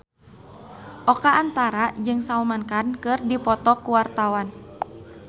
Oka Antara jeung Salman Khan keur dipoto ku wartawan